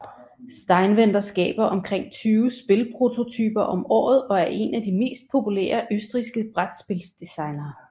Steinwender skaber omkring tyve spilprototyper om året og er en af de mest populære østrigske brætspils designere